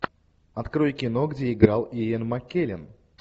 открой кино где играл иэн маккеллен